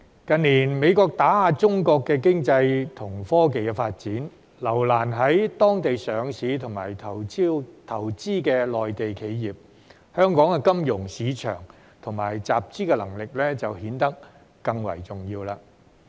近年美國打壓中國經濟和科技發展，留難在當地上市及投資的內地企業，香港的金融市場和集資能力就顯得更為重要。